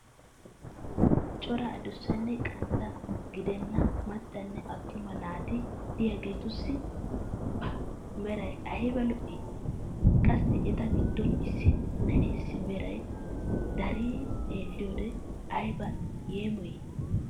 Cora adussanne qantta gedenna macanne atumma naati diyaageetussi pa meray ayba lo!! Qassi eta giddon issi na'eessi meray deree xeeliyoode ayba yeemoyii!